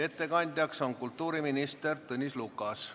Ettekandja on kultuuriminister Tõnis Lukas.